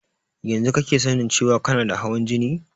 Yanzu kake sanin cewan kana da hawan jini?